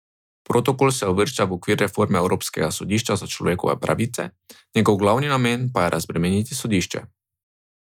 Protokol se uvršča v okvir reforme Evropskega sodišča za človekove pravice, njegov glavni namen pa je razbremeniti sodišče.